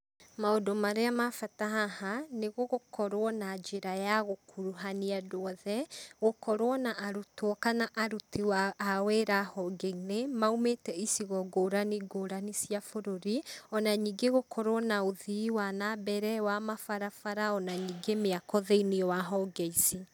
Maũndũ marĩa ma bata haha, nĩ gũkorwo na njĩra ya gũkuruhania andũ othe, gũkorwo na arutwo kana aruti a wĩra honge-inĩ maumĩte icigo ngũrani ngũrani cia bũrũri, ona ningĩ gũkorwo na ũthii wa na mbere wa mabarabara ona ningĩ mĩako thĩinĩ wa honge ici.